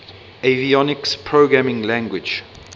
avionics programming language